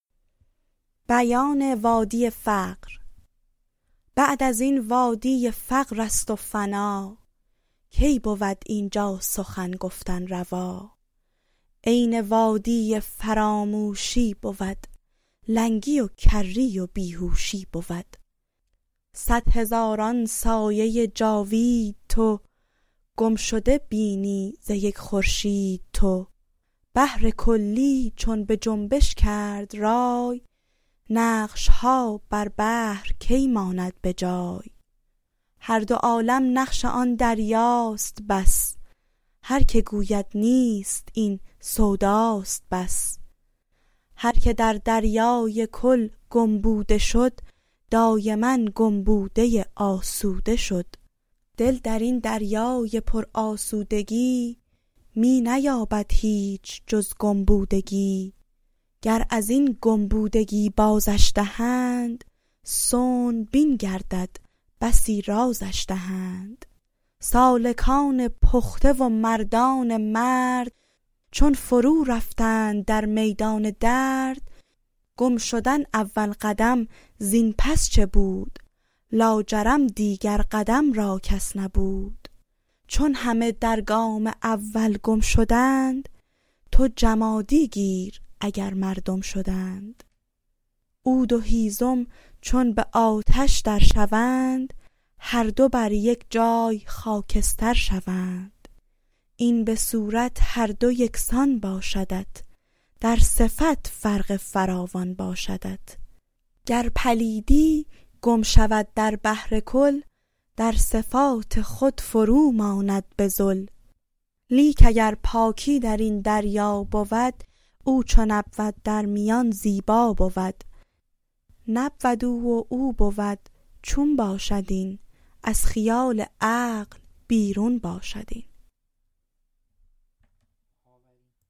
بعد ازین وادی فقرست و فنا کی بود اینجا سخن گفتن روا عین وادی فراموشی بود لنگی و کری و بیهوشی بود صد هزاران سایه جاوید تو گم شده بینی ز یک خورشید تو بحرکلی چون بجنبش کرد رای نقشها بر بحر کی ماند بجای هر دو عالم نقش آن دریاست بس هرک گوید نیست این سوداست بس هرک در دریای کل گم بوده شد دایما گم بوده آسوده شد دل درین دریای پر آسودگی می نیابد هیچ جز گم بودگی گر ازین گم بودگی بازش دهند صنع بین گردد بسی رازش دهند سالکان پخته و مردان مرد چون فرو رفتند در میدان درد گم شدن اول قدم زین پس چه بود لاجرم دیگر قدم را کس نبود چون همه در گام اول گم شدند تو جمادی گیر اگر مردم شدند عود و هیزم چون به آتش در شوند هر دو بر یک جای خاکستر شوند این به صورت هر دو یکسان باشدت در صفت فرق فراوان باشدت گر پلیدی گم شود در بحر کل در صفات خود فروماند بذل لیک اگر پاکی درین دریا بود او چون نبود در میان زیبا بود نبود او و او بود چون باشد این از خیال عقل بیرون باشد این